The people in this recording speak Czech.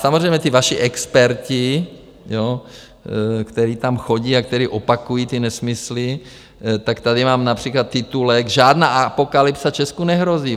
Samozřejmě ti vaši experti, kteří tam chodí a kteří opakují ty nesmysly, tak tady mám například titulek: Žádná apokalypsa Česku nehrozí.